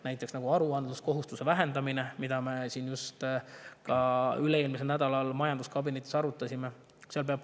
Näiteks aruandluskohustuse vähendamine, mida me ka üle-eelmisel nädalal majanduskabinetis arutasime.